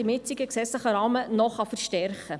Wichtig ist, welche Aufgabe sie haben.